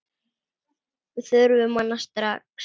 Við þurfum hana strax.